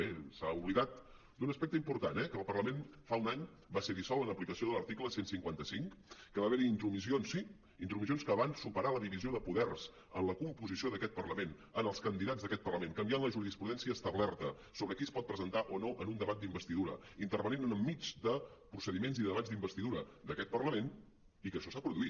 bé s’ha oblidat d’un aspecte important eh que el parlament fa un any va ser dissolt en aplicació de l’article cent i cinquanta cinc que va haver hi intromissions sí intromissions que van superar la divisió de poders en la composició d’aquest parlament en els candidats d’aquest parlament canviant la jurisprudència establerta sobre qui es pot presentar o no en un debat d’investidura intervenint enmig de procediments i debats d’investidura d’aquest parlament i que això s’ha produït